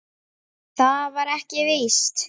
En það var ekki víst.